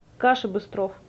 каша быстров